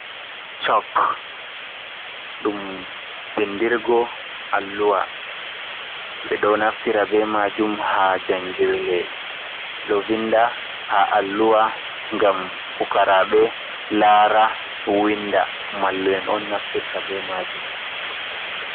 Chok, ɗum bindirgol alluwa ɓe ɗo naftira be majuum ha jangirle, ɓe ɗo vinnda ha alluwa gam pukaraɓe lara winda mallu’en on naftirta be majuuum.